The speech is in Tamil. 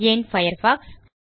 ஏன் பயர்ஃபாக்ஸ்